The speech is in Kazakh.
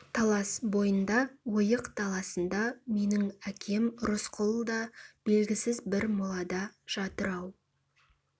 талас бойында ойық даласында менің әкем рысқұл да белгісіз бір молада жатыр-ау